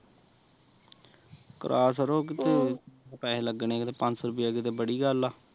ਕੇਆ ਛੱਡੋ ਕਿਤੇ ਪੈਸੇ ਲੱਗਣੇ ਕਿਤੇ ਪੰਜ ਸੋ ਰੁਪਿਆ ਕਿਤੇ ਬੜੀ ਗੱਲ ਆ